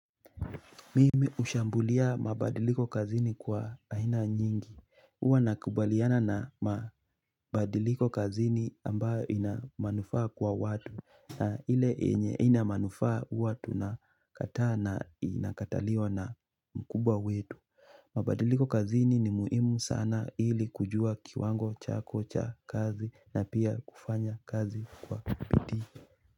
Mimi hushambulia mabadiliko kazini kwa aina nyingi huwa nakubaliana na mabadiliko kazini ambayo ina manufaa kwa watu na ile yenye haina manufaa huwa tunakataa na inakataliwa na mkubwa wetu mabadiliko kazini ni muhimu sana ili kujua kiwango chako cha kazi na pia kufanya kazi kwa bidii.